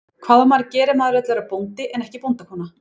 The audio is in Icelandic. Hvað á maður að gera ef maður vill verða bóndi en ekki bóndakona?